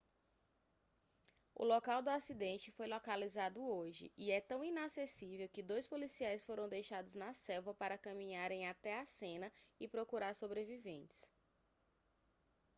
o local do acidente foi localizado hoje e é tão inacessível que dois policiais foram deixados na selva para caminharem até a cena e procurar sobreviventes